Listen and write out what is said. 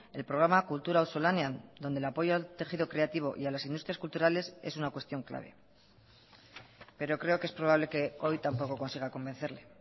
el programa kultura auzolanean donde el apoyo al tejido creativo y a las industrias culturales es una cuestión clave pero creo que es probable que hoy tampoco consiga convencerle